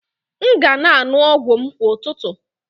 M ga na-aṅụ ọgwụ m kwa ụtụtụ